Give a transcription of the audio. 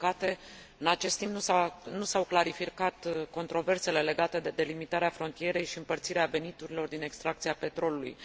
Din păcate, în acest timp nu s au clarificat controversele legate de delimitarea frontierei și împărțirea veniturilor din extracția petrolului.